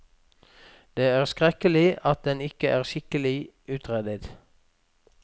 Det er skrekkelig at den ikke er skikkelig utredet.